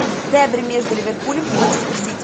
дерби между ливерпулем и манчестер сити